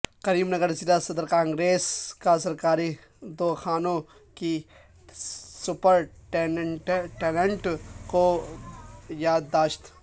کریم نگر ضلع صدر کانگریس کا سرکاری دواخانوں کے سپرنٹنڈنٹ کو یادداشت